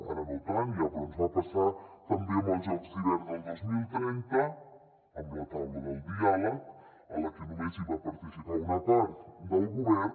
ara no tant ja però ens va passar també amb els jocs d’hivern del dos mil trenta amb la taula del diàleg a la que només hi va participar una part del govern